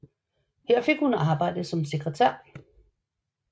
Her fik hun arbejde som sekretær